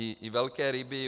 I velké ryby.